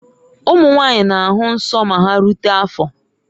Ụmụ nwanyị na-ahụ nsọ ma ha rute afọ